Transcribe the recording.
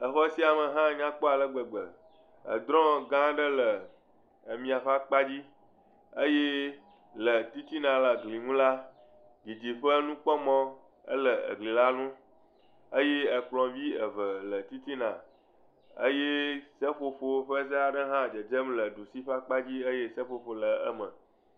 Xɔ sia me hã nya kpɔ ale gbegbe, drɔ gã aɖe le mia kpadzi eye le titina le gli ŋu la, didiƒenukpɔmɔ le gli la ŋu eye kplɔ̃ vi eve le titina eye seƒoƒo ƒe ze aɖe hã dzedzem le dusi kpadzi eye seƒoƒo le eme.